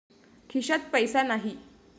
खिशात पैसा नाही.